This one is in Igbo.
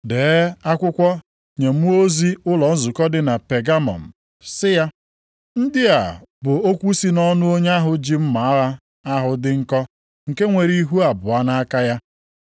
“Dee akwụkwọ nye mmụọ ozi ụlọ nzukọ dị Pegamọm, sị ya: Ndị a bụ okwu si nʼọnụ onye ahụ ji mma agha ahụ dị nkọ nke nwere ihu abụọ nʼaka ya.